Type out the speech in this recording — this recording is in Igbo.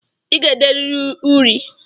I ga-ederịrị uri!